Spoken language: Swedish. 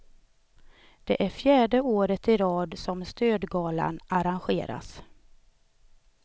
Det är fjärde året i rad som stödgalan arrangeras.